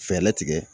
Fɛɛrɛ tigɛ